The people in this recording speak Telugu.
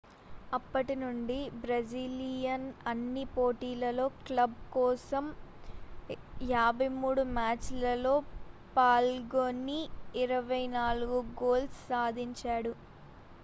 అప్పటి నుండి బ్రెజిలియన్ అన్ని పోటీలలో క్లబ్ కోసం 53 మ్యాచ్ లలో పాల్గొని 24 గోల్స్ సాధించాడు